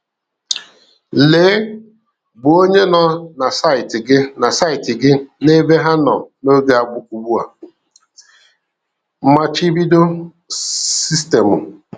Lee bụ onye nọ na saịtị gị na saịtị gị na ebe ha nọ n'oge ugbua, machibido sistemụ